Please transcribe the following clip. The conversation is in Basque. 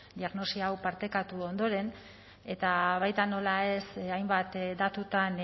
diagnosia hau partekatu ondoren eta baita nola ez hainbat datutan